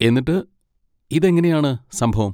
എന്നിട്ട്, ഇതെങ്ങനെയാണ് സംഭവം?